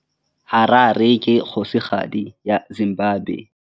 Harare ke kgosigadi ya Zimbabwe.